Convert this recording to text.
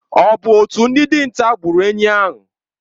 Ọ bụ otu ndị dinta gburu enyí a?